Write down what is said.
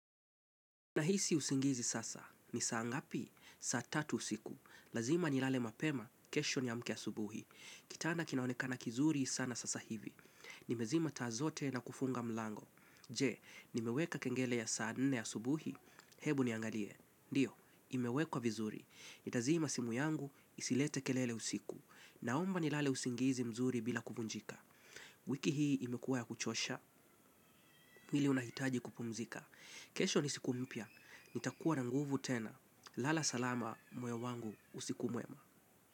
Nahisi usingizi sana. Ni saa ngapi? Saa tatu usiku. Lazima nilale mapema, kesho niamke asubuhi. Kitana kinaonekana kizuri sana sasa hivi. Nimezima taa zote na kufunga mlango. Je, nimeweka kengele ya saa nne asubuhi? Hebu niangalie. Ndio, imewekwa vizuri. Nitazima simu yangu, isilete kelele usiku. Naomba nilale usingizi mzuri bila kuvunjika. Wiki hii imekuwa ya kuchosha, mwili unahitaji kupumzika. Kesho ni siku mpya. Nitakuwa na nguvu tena. Lala salama moyo wangu usiku mwema.